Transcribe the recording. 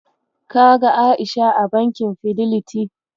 Ka ga A'isha a bankin Fideliti?